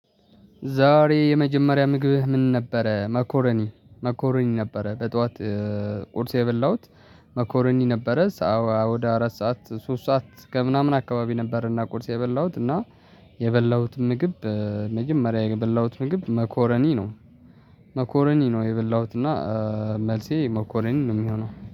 ዛሬ የመጀመሪያ ምግብህ ምን ነበረ? መኮረኒ መኮረኒ ነበረ በጧት ቁርስ የበላሁት መኮረኒ ነበረ። ሰዓት ወደ አራት ሰዓት ሶስት ሰዓት ከምናምን አካባቢ ነበረና ቁርስ የበላሁት እና የበላሁት ምግብ በመጀመሪያ የበላሁት ምግብ መኮረኒ ነው መኮረኒ ነው የበላሁት እና መልሴ መኮረኒ ነው። የሚሆነው